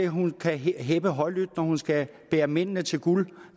hun kan heppe højlydt når hun skal bære mændene til guld